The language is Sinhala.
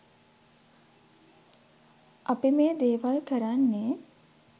අපි මේ දේවල් කරන්නේ